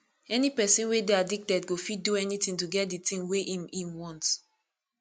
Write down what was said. any pesin wey dey addicted go fit do anything to get di thing wey im im want